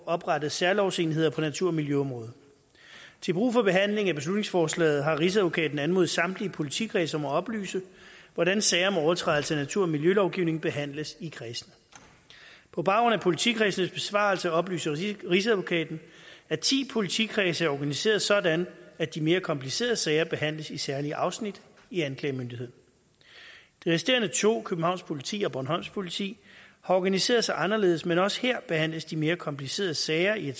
oprettet særlovsenheder på natur og miljøområdet til brug for behandlingen af beslutningsforslaget har rigsadvokaten anmodet samtlige politikredse om at oplyse hvordan sager om overtrædelse af natur og miljølovgivningen behandles i kredsene på baggrund af politikredsenes besvarelse oplyser rigsadvokaten at ti politikredse er organiseret sådan at de mere komplicerede sager behandles i særlige afsnit i anklagemyndigheden de resterende to københavns politi og bornholms politi har organiseret sig anderledes men også her behandles de mere komplicerede sager i